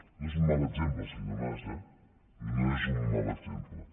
no és un mal exemple senyor mas eh no és un mal exemple